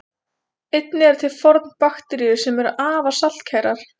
Einnig eru til fornbakteríur sem eru afar saltkærar.